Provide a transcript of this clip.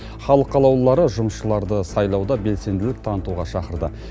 халық қалаулылары жұмысшыларды сайлауда белсенділік танытуға шақырды